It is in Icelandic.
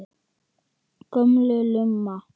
Gömul lumma.